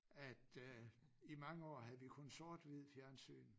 At øh i mange år havde vi kun sort-hvid fjernsyn